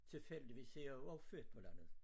Tilfældigvis er jeg jo også født på landet